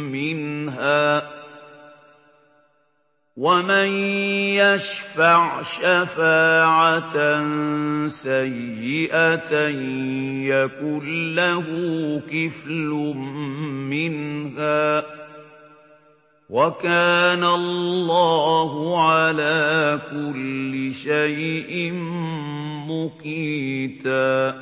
مِّنْهَا ۖ وَمَن يَشْفَعْ شَفَاعَةً سَيِّئَةً يَكُن لَّهُ كِفْلٌ مِّنْهَا ۗ وَكَانَ اللَّهُ عَلَىٰ كُلِّ شَيْءٍ مُّقِيتًا